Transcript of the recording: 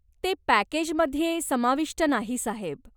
ते पॅकेजमध्ये समाविष्ट नाही साहेब.